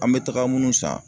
An be taga munnu san